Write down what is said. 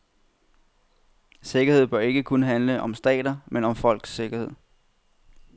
Sikkerhed bør ikke kun handle om stater, men om folkenes sikkerhed.